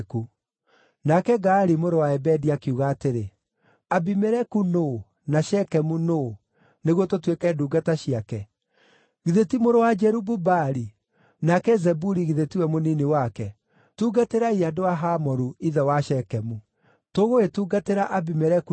Nake Gaali mũrũ wa Ebedi akiuga atĩrĩ, “Abimeleku nũũ, na Shekemu nũũ, nĩguo tũtuĩke ndungata ciake? Githĩ ti mũrũ wa Jerubu-Baali, nake Zebuli githĩ tiwe mũnini wake? Tungatĩrai andũ a Hamoru, ithe wa Shekemu! Tũgũgĩtungatĩra Abimeleku nĩkĩ?